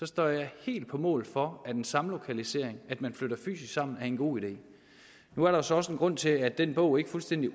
står jeg helt på mål for at en samlokalisering at man flytter fysisk sammen er en god idé nu er der så også en grund til at den bog ikke fuldstændig